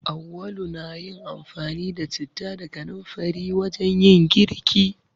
Auwalu na yin amfani da citta da kanamfari wajen yin girki.